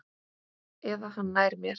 Eða hann nær mér.